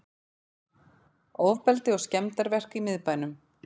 Ofbeldi og skemmdarverk í miðbænum